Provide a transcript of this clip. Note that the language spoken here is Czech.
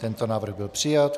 Tento návrh byl přijat.